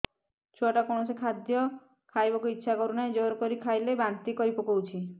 ଛୁଆ ଟା କୌଣସି ଖଦୀୟ ଖାଇବାକୁ ଈଛା କରୁନାହିଁ ଜୋର କରି ଖାଇଲା ବାନ୍ତି କରି ପକଉଛି